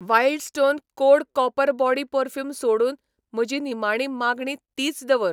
Wild Stone Code copper body perfume सोडून म्हजी निमाणी मागणी तीच दवर.